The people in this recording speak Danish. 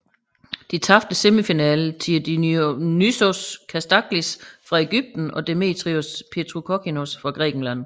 De tabte semifinalen til Dionysios Kasdaglis fra Egypten og Demetrios Petrokokkinos fra Grækenland